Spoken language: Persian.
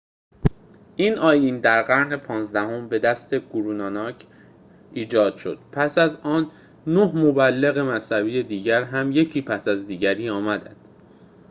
این آیین در قرن پانزدهم به دست گورو ناناک 1539- 1469 ایجاد شد. پس از آن، نه مبلغ مذهبی دیگر هم یکی پس از دیگری آمدند